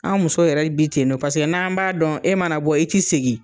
An musow yɛrɛ bi ten nɔ paseke n'an b'a dɔn e mana bɔ i ti segi